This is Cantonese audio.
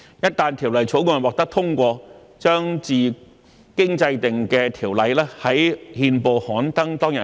一旦《條例草案》獲得通過，將自經制定的條例於憲報刊登當日起實施。